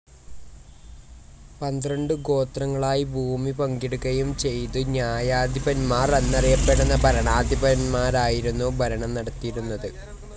പന്ത്രണ്ടു ഗോത്രങ്ങളായി ഭൂമി പങ്കിടുകയും ചെയ്തു ന്യായാധിപന്മാർ എന്നറിയപ്പെട്ട ഭരണാധിപന്മാരായിരുന്നു ഭരണം നടത്തിയിരുന്നത്.